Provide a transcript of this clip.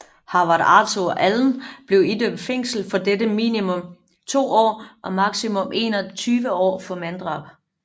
Howard Arthur Allen blev idømt fængsel for dette på minimum 2 år og maksimum 21 år for manddrab